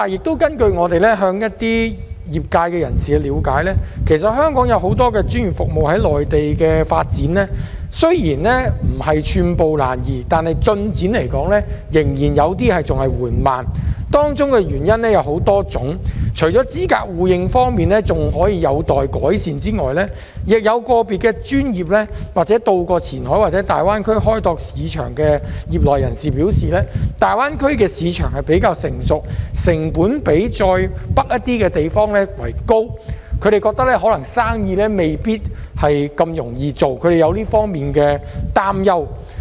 但是，根據我們向一些專業服務業界人士了解，其實香港有很多專業服務在內地的發展，雖然不是寸步難移，但進展仍然有些緩慢，當中的原因有很多種，除了資格互認方面還有待改善之外，有個別的專業服務業界人士，以及到過前海或大灣區開拓市場的人士均表示，大灣區的市場比較成熟，成本較再北上的一些地方為高，他們認為生意可能未必那麼容易做，他們對此有所擔憂。